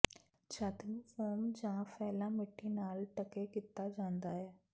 ਛੱਤ ਨੂੰ ਫੋਮ ਜਾਂ ਫੈਲਾ ਮਿੱਟੀ ਨਾਲ ਢਕੇ ਕੀਤਾ ਜਾਂਦਾ ਹੈ